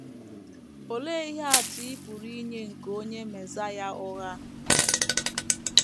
Olee ihe atụ ị pụrụ inye nke onye mesaịa ụgha?